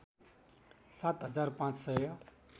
सात हजार पाँच सय